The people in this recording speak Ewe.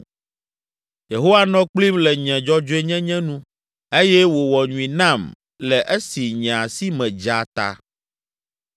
“Yehowa nɔ kplim le nye dzɔdzɔenyenye nu eye wòwɔ nyui nam le esi nye asi me dza ta.